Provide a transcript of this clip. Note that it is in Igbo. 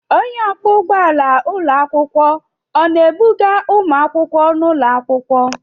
Onye ọkwọ ụgbọala ụlọ akwụkwọ ọ na-ebuga ụmụakwụkwọ n'ụlọ akwụkwọ?